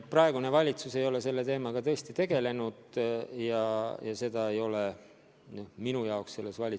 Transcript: Praegune valitsus ei ole selle teemaga tõesti tegelenud ja sellist ülesannet ei ole ka minu jaoks püstitatud.